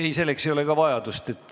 Ei, selleks ei ole vajadust.